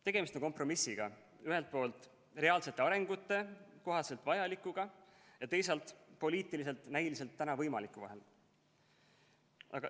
Tegemist on kompromissiga ühelt poolt reaalse arengu kohaselt vajalikuga ja teisalt poliitiliselt näiliselt võimaliku vahel.